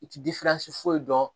I ti foyi dɔn